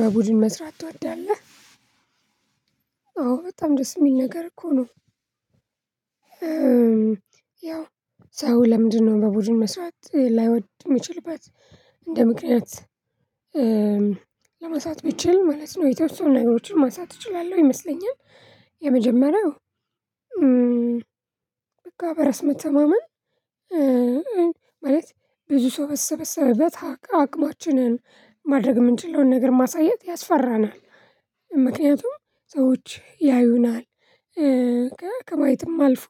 በቡድን መስራት ትወዳለህ? አዎ በጣም ደስ የሚል ነገር እኮ ነው። ያው ሰው ለምንድነው በቡድን መስራት ላይወድ እሚችልበት እንደ ምክንያት ለማንሳት ብችል ማለት ነው። የተወሰኑ ነገሮችን ማንሳት እችላለሁ ይመስለኛል። የመጀመሪያው በቃ በራስ መተማመን ማለት ብዙ ሰው በተሰበሰበት አቅማችንን ማድረግ የምንችለውን ነገር ማሳየት ያስፈራናል። ምክንያቱም ሰዎች ያዩናል ከማየትም አልፎ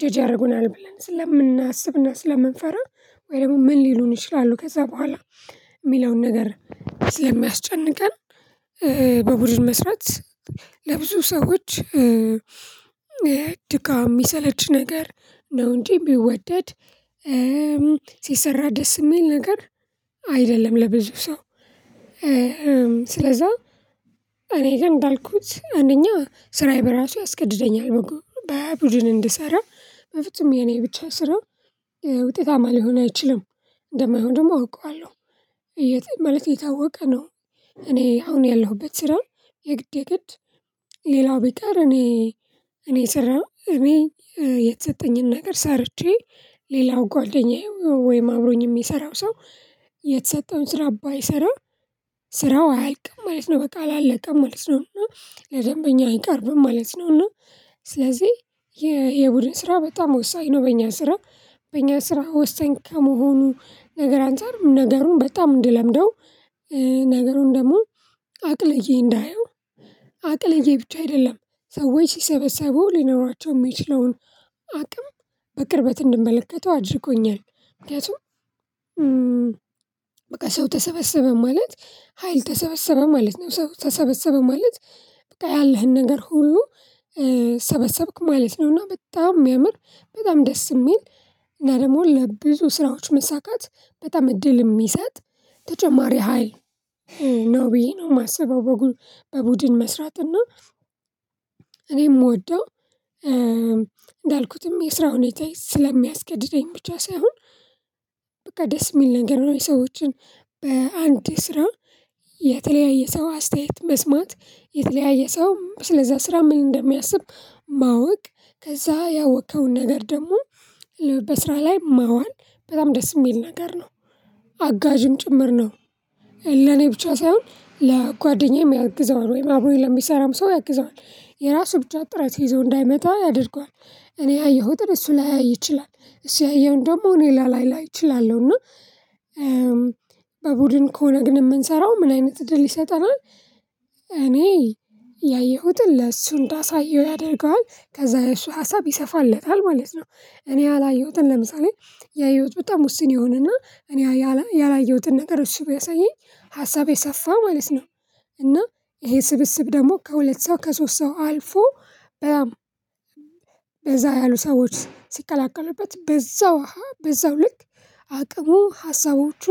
ጀጅ ያደርጉናል ብለን ስለምናስብና ስለምንፈራ ወይ ደግሞ ምን ሊሉን ይችላሉ ከዛ በኋላ የሚለውን ነገር ስለሚያስጨንቀን። በቡድን መስራት ለብዙ ሰዎች ድካም የሚሰለች ነገር ነው እንጂ የሚወደድ ሲሰራ ደስ የሚል ነገር አይደለም ለብዙ ሰው። ስለዛ እኔ ግን እንዳልኩት አንደኛ ስራዬ በራሱ ያስገድደኛል መቆም በቡድን እንድሰራ በፍጹም የኔ ብቻ ስራ ውጤታማ ሊሆን አይችልም እንደማይሆን ደግሞ አውቃለሁ። የት ማለት የታወቀ ነው። እኔ አሁን ያለሁበት ስራ የግዴ ግድ ሌላው ቢቀር እኔ እኔ ስራ ነው እኔ የተሰጠኝን ነገር ሰርቼ ሌላው ጓደኛዬ ወይም አብሮኝ የሚሰራው ሰው የተሰጠውን ስራ ባይሰራ ስራው አይልቅም ማለት ነው በቃ አላቀም ማለት ነው እና ለደንበኛ አይቀርብም ማለት ነው። እና ስለዚህ የቡድን ስራ በጣም ወሳኝ ነው። በእኛ ስራ በእኛ ስራ ወሳኝ ከመሆኑ ነገር አንፃር ነገሩን በጣም እንድለምደው ነገሩን ደግሞ አቅልዬ እንዳየው አቅልዬ ብቻ አይደለም ሰዎች ሲሰበሰቡ ሊኖራቸው የሚችለውን አቅም በቅርበት እንድመለከተው አድርጎኛል። ምክንያቱም በቃ ሰው ተሰበሰበ ማለት ሀይል ተሰበሰበ ማለት ሰው ተሰበሰበ ማለት ያለህን ነገር ሁሉ ሰበሰብክ ማለት ነውና። በጣም የሚያምር በጣም ደስ የሚል እና ደግሞ ለብዙ ስራዎች መሳካት በጣም እድል የሚሰጥ ተጨማሪ ሀይል ነው ብዬ ነው የማስበው። በቡድን መስራት እና እኔ እምወደው እንዳልኩትም የስራ ሁኔታ ስለሚያስገድደኝ ብቻ ሳይሆን በቃ ደስ የሚል ነገር ነው። የሰዎችን በአንድ ስራ የተለያየ ሰው አስተያየት መስማት የተለያየ ሰው ስለዛ ስራ ምን እንደሚያስብ ማወቅ ከዛ ያወከውን ነገር ደግሞ በስራ ላይ ማዋል በጣም ደስ የሚል ነገር ነው። አጋዥም ጭምር ነው ለኔ ብቻ ሳይሆን ለጓደኛዬም ያግዘዋል ወይም አብሮኝ ለሚሰራም ሰው ያግዘዋል የራሱ ብቻ ጥረት ይዞ እንዳይመጣ ያደርገዋል። እኔ ያየሁትን እሱ ላያይ ይችላል እሱ ያየዉን ደግሞ እኔ ላላይ እችላለሁ። እና በቡድን ከሆነ ግን የምንሰራው ምን አይነት ድል ይሰጠናል እኔ ያየሁትን ለሱ እንዳሳየው ያደርገዋል ከዛ የሱ ሀሳብ ይሰፋለታል ማለት ነው። እኔ ያላየሁትን ለምሳሌ ያየሁት በጣም ውስን የሆነና እኔ ያላየሁትን ነገር እሱ ቢያሳየኝ ሀሳቤ ሰፋ ማለት ነው። እና ይሄ ስብስብ ደግሞ ከሁለት ሰው ከሶስት ሰው አልፎ በዛ ያሉ ሰዎች ሲቀላቀሉበት በዛው በዛው ልክ አቅሙ ሀሳቦቹ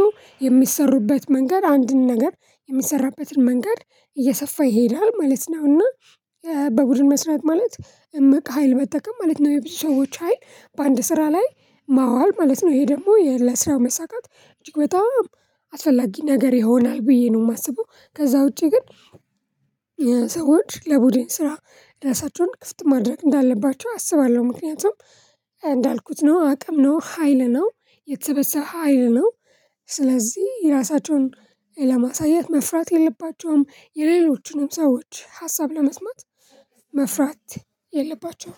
የሚሰሩበት መንገድ አንድን ነገር የሚሰራበትን መንገድ እየሰፋ ይሄዳል ማለት ነው። እና በቡድን መስራት ማለት እምቅ ሀይል መጠቀም ማለት ነው። የብዙ ሰዎች ሀይል በአንድ ስራ ላይ ማዋል ማለት ነው። ይሄ ደግሞ ለስራው መሳካት እጅግ በጣም አስፈላጊ ነገር ይሆናል ብዬ ነው የማስበው። ከዛ ውጪ ግን ሰዎች ለቡድን ስራ እራሳቸውን ክፍት ማድረግ እንዳለባቸው አስባለሁ። ምክንያቱም እንዳልኩት ነው አቅም ነው ሀይል ነው የተበሰበ ሀይል ነው። ስለዚህ የራሳቸውን ለማሳየት መፍራት የለባቸውም የሌሎችንም ሰዎች ሀሳብ ለመስማት መፍራት የለባቸውም